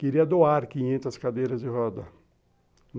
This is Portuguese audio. Queria doar quinhentas cadeiras de roda.